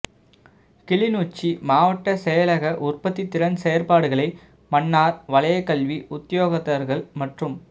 கிளிநொச்சி மாவட்ட செயலக உற்பத்திதிறன் செயற்பாடுகளை மன்னார் வலயக்கல்வி உத்தியோகத்தர்கள் மற்றும்